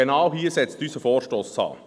Genau hier setzt unser Vorstoss an.